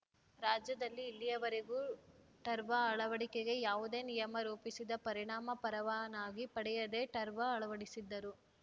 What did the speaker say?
ರಾಜ್ಯದಲ್ಲಿ ಇಲ್ಲಿಯವರೆಗೂ ಟರ್ವ ಅಳವಡಿಕೆಗೆ ಯಾವುದೇ ನಿಯಮ ರೂಪಿಸದ ಪರಿಣಾಮ ಪರವಾನಗಿ ಪಡೆಯದೇ ಟರ್ವ ಅಳವಡಿಸಿದ್ದರು